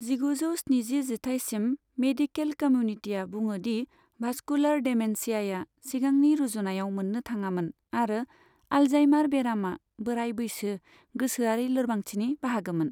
जिगुजौ स्निजि जिथाइसिम, मेडिकेल कम्युनिटिआ बुङो दि भास्कुलार डेमेन्सियाया सिगांनि रुजुनायाव मोननो थाङामोन आरो आल्जाइमार बेरामआ बोराय बैसो गोसोआरि लोरबांथिनि बाहागोमोन।